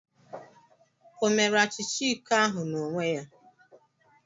O mere achicha iko ahụ n'onwe ya?